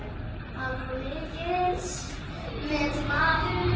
Hann var mikils metinn maður.